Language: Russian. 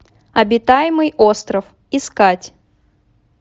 обитаемый остров искать